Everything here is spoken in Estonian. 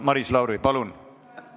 Maris Lauri, palun!